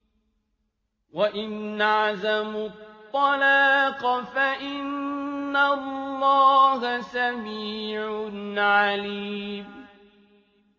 وَإِنْ عَزَمُوا الطَّلَاقَ فَإِنَّ اللَّهَ سَمِيعٌ عَلِيمٌ